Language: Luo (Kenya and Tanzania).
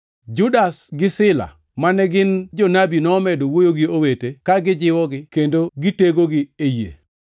Judas gi Sila, mane gin jonabi, nomedo wuoyo gi owete ka gijiwogi kendo gitegogi e yie.